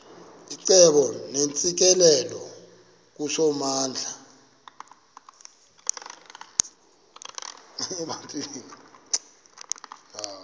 icebo neentsikelelo kusomandla